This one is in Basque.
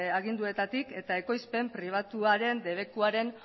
aginduetatik eta ekoizpen pribatuaren debekuaren